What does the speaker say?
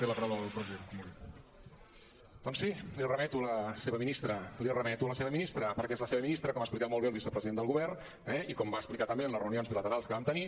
doncs sí el remeto a la seva ministra el remeto a la seva ministra perquè és la seva ministra com ha explicat molt bé el vicepresident del govern eh i com va explicar també en les reunions bilaterals que vam tenir